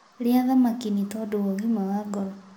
Rĩa thamakĩ nĩtondũ wa ũgima wa ngoro